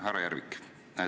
Härra Järvik!